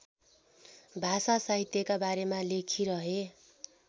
भाषासाहित्यका बारेमा लेखिरहे